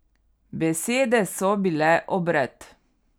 Besede so bile obred.